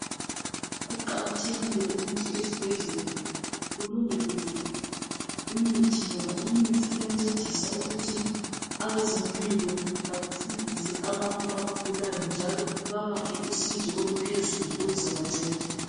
Kuqakathekile ukuthi ezibhedlela kulondolozwe imithi ngoba imithi iyancedisa ukuthi abezempilo basindise abantu abagulayo njalo babaphe usizo oluphezulu oluzabanceda.